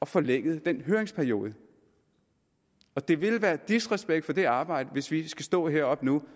forlænget den høringsperiode det ville være disrespekt for det arbejde hvis vi skal stå heroppe nu